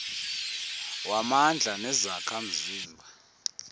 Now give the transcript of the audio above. wamandla nezakha mzima